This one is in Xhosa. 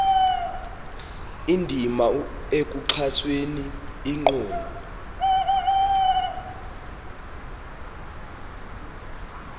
indima ekuxhaseni inkqubo